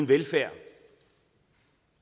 velfærd